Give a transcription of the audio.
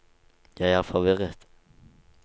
jeg er forvirret